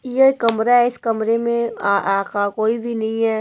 ये कमरा है इस कमरे में आ आ आ का कोई भी नहीं है।